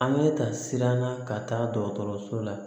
An bɛ ta siran na ka taa dɔgɔtɔrɔso la